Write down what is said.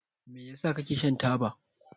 Me yasa kake shan taba?